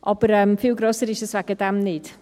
Aber viel grösser ist es deswegen nicht.